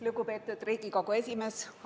Lugupeetud Riigikogu esimees!